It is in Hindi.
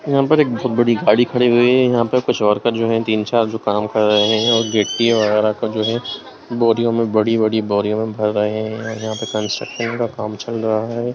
यहां पर एक बहुत बड़ी गाड़ी खड़ी हुए है यहां पे कुछ और का जो है तीन-चार जो काम कर रहे हैं और गिट्टी वगैरा का जो है बोरियों में बड़ी-बड़ी बोरियों में भर रहे हैं यहां पर कंस्ट्रक्शन का काम चल रहा है।